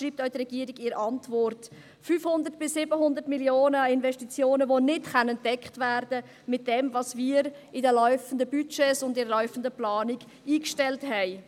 Dies schreibt die Regierung auch in der Antwort: 500 bis 700 Mio. Franken Investitionen, die nicht gedeckt werden könnten mit dem, was wir in den laufenden Budgets und in der laufenden Planung eingestellt haben.